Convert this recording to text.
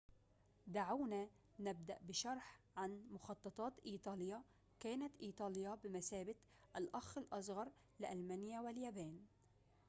دعونا نبدأ بشرح عن مخططات إيطاليا كانت إيطاليا بمثابة الأخ الأصغر لألمانيا واليابان